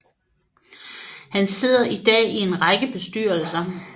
Han sidder i dag i en række bestyrelser